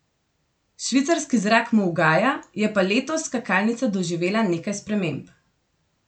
Švicarski zrak mu ugaja, je pa letos skakalnica doživela nekaj sprememb.